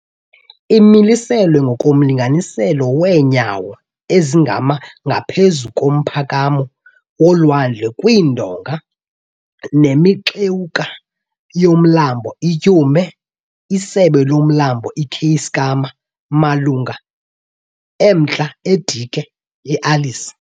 Imiliselwe ngokomlinganiselo weenyawo ezingama ngaphezu komphakamo wolwandle kwiindonga nemixewuka yoMlambo iTyhume, isebe loMlambo iKeiskamma, malunga emntla eDike yeAlice.